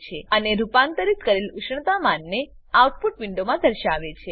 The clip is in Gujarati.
અને રૂપાંતરિત કરેલ ઉષ્ણતામાનને આઉટપુટ વિન્ડોમાં દર્શાવે છે